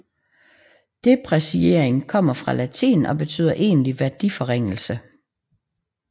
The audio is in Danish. Depreciering kommer fra latin og betyder egentlig værdiforringelse